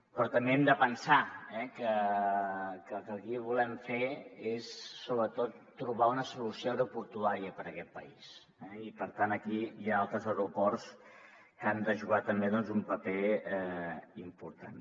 però també hem de pensar que el que aquí volem fer és sobretot trobar una solució aeroportuària per a aquest país eh i per tant aquí hi ha altres aeroports que hi han de jugar també doncs un paper important